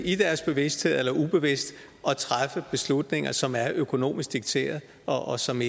bevidst eller ubevidst at træffe beslutninger som er økonomisk dikteret og som